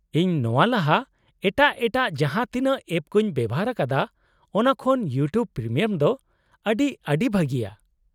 -ᱤᱧ ᱱᱚᱶᱟ ᱞᱟᱦᱟ ᱮᱴᱟᱜ ᱮᱴᱟᱜ ᱡᱟᱦᱟᱸ ᱛᱤᱱᱟᱹᱜ ᱮᱯ ᱠᱚᱧ ᱵᱮᱣᱦᱟᱨ ᱟᱠᱟᱫᱟ ᱚᱱᱟ ᱠᱷᱚᱱ ᱤᱭᱩᱴᱤᱭᱩᱵ ᱯᱨᱤᱢᱤᱭᱟᱢ ᱫᱚ ᱟᱹᱰᱤ ᱟᱹᱰᱤ ᱵᱷᱟᱹᱜᱤᱭᱟ ᱾